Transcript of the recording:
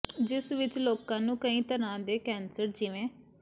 ਜਿਸ ਵਿਚ ਲੋਕਾਂ ਨੂੰ ਕਈ ਤਰ੍ਹਾਂ ਦੇ ਕੈਂਸਰ ਜਿਵੇ